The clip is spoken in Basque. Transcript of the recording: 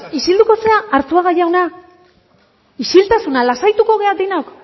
isilduko zara arzuaga jauna isiltasuna lasaituko gara denok